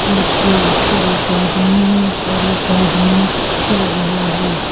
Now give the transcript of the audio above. Truck के ऊपर एक आदमी है और एक आदमी चढ़ रहा है।